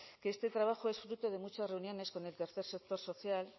que este trabajo es fruto de muchas reuniones con el tercer sector social